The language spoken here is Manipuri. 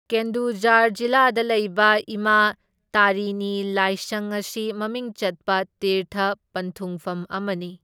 ꯀꯦꯟꯗꯨꯓꯥꯔ ꯖꯤꯂꯥꯗ ꯂꯩꯕ ꯏꯃꯥ ꯇꯥꯔꯤꯅꯤ ꯂꯥꯏꯁꯪ ꯑꯁꯤ ꯃꯃꯤꯡ ꯆꯠꯄ ꯇꯤꯔꯊ ꯄꯟꯊꯨꯡꯐꯝ ꯑꯃꯅꯤ꯫